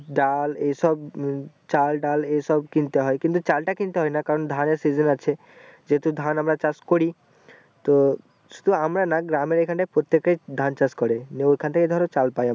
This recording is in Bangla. ডাল এইসব উহ চাষ চাল ডাল এই সব কিনতে হয় কিন্তু চাল তা কিনতে হয় না কারণ ধানের season আছে যেহুতু ধান আমরা চাষ করি তো শুধু আমরা না গ্রামের এখানেতাই প্রত্যেকে ধান চাষ করে নিয়ে ঐখান ধরো চাল পাই ।